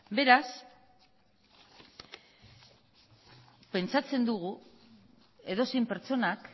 beraz pentsatzen dugu edozein pertsonak